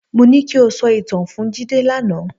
Mo ní ki o sọ ìtàn fún Jídé lánàá.